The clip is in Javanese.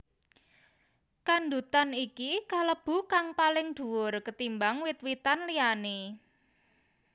Kandutan iki kalebu kang paling duwur ketimbang wit witan liyané